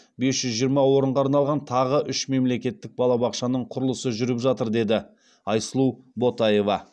бес жүз жиырма орынға арналған тағы үш мемлекеттік балабақшаның құрылысы жүріп жатыр деді айсұлу ботаева